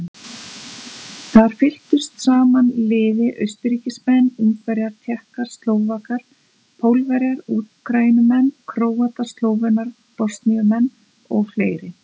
Þar fylktu saman liði Austurríkismenn, Ungverjar, Tékkar, Slóvakar, Pólverjar, Úkraínumenn, Króatar, Slóvenar, Bosníumenn og fleiri.